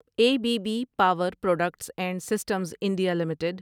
a B B power products and systems India limited